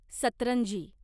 सतरंजी